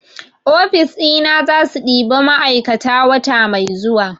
ofis ina zasu ɗiba ma'aikata wata mai zuwa